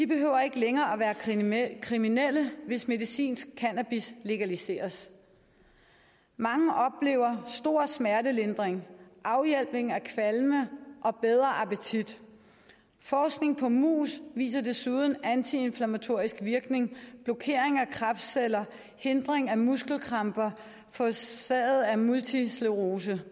behøver ikke længere at være kriminelle kriminelle hvis medicinsk cannabis legaliseres mange oplever stor smertelindring afhjælpning af kvalme og bedre appetit forskning på mus viser desuden antiinflammatorisk virkning blokering af kræftceller hindring af muskelkramper forårsaget af multipel sklerose